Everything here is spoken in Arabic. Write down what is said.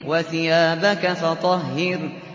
وَثِيَابَكَ فَطَهِّرْ